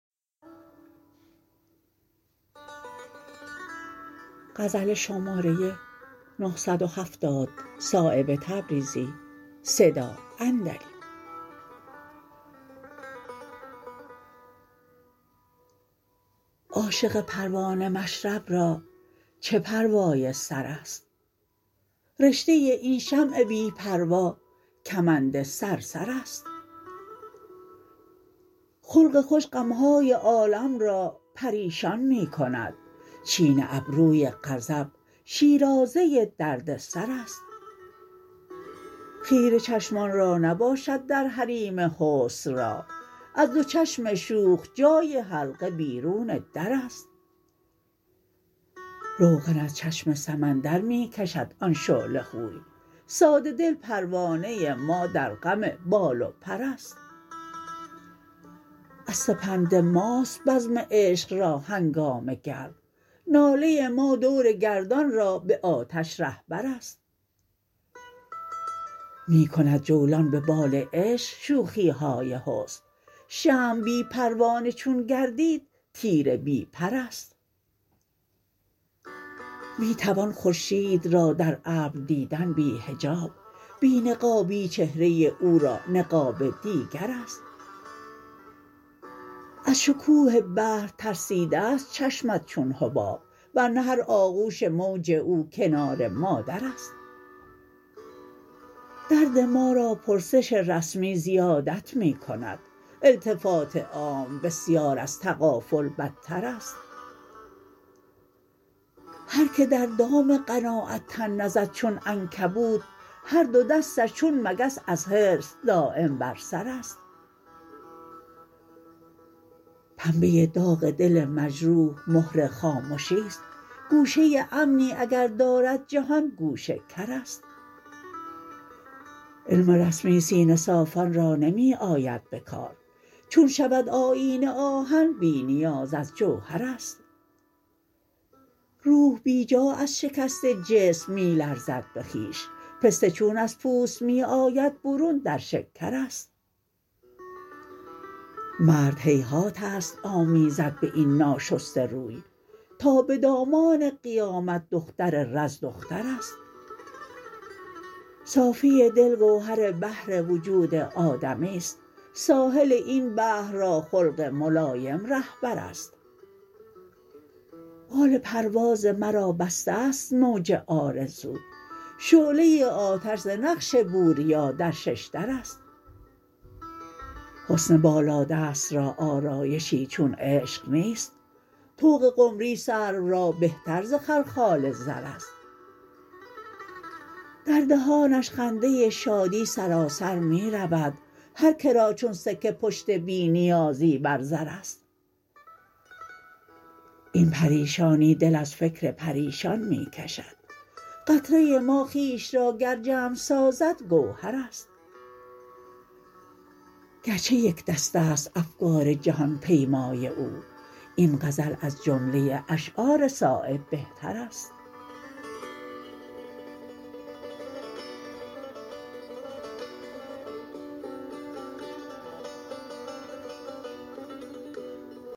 عاشق پروانه مشرب را چه پروای سرست رشته این شمع بی پروا کمند صرصرست خلق خوش غم های عالم را پریشان می کند چین ابروی غضب شیرازه دردسرست خیره چشمان را نباشد در حریم حسن راه از دو چشم شوخ جای حلقه بیرون درست روغن از چشم سمندر می کشد آن شعله خوی ساده دل پروانه ما در غم بال و پرست از سپند ماست بزم عشق را هنگامه گرم ناله ما دور گردان را به آتش رهبرست می کند جولان به بال عشق شوخی های حسن شمع بی پروانه چون گردید تیر بی پرست می توان خورشید را در ابر دیدن بی حجاب بی نقابی چهره او را نقاب دیگرست از شکوه بحر ترسیده است چشمت چون حباب ورنه هر آغوش موج او کنار مادرست درد ما را پرسش رسمی زیادت می کند التفات عام بسیار از تغافل بدترست هر که در دام قناعت تن نزد چون عنکبوت هر دو دستش چون مگس از حرص دایم بر سرست پنبه داغ دل مجروح مهر خامشی است گوشه امنی اگر دارد جهان گوش کرست علم رسمی سینه صافان را نمی آید به کار چون شود آیینه آهن بی نیاز از جوهرست روح بیجا از شکست جسم می لرزد به خویش پسته چون از پوست می آید برون در شکرست مرد هیهات است آمیزد به این ناشسته روی تا به دامان قیامت دختر رز دخترست صافی دل گوهر بحر وجود آدمی است ساحل این بحر را خلق ملایم رهبرست بال پرواز مرا بسته است موج آرزو شعله آتش ز نقش بوریا در ششدرست حسن بالادست را آرایشی چون عشق نیست طوق قمری سرو را بهتر ز خلخال زرست در دهانش خنده شادی سراسر می رود هر که را چون سکه پشت بی نیازی بر زرست این پریشانی دل از فکر پریشان می کشد قطره ما خویش را گر جمع سازد گوهرست گرچه یکدست است افکار جهان پیمای او این غزل از جمله اشعار صایب بهترست